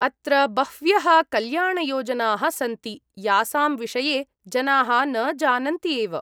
अत्र बह्व्यः कल्याणयोजनाः सन्ति यासां विषये जनाः न जानन्ति एव।